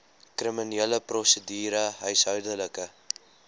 kriminele prosedure huishoudelike